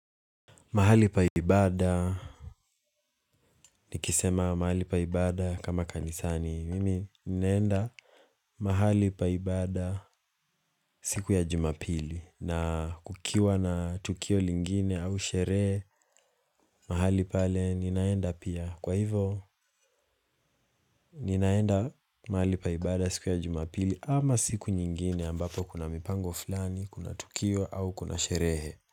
Mahali pa ibada, nikisema mahali pa ibada kama kanisani. Mimi ninaenda mahali pa ibada siku ya jumapili na kukiwa na tukio lingine au sherehe mahali pale ninaenda pia. Kwa hivo ninaenda mahali pa ibada siku ya jumapili ama siku nyingine ambapo kuna mipango fulani, kuna tukio au kuna sherehe.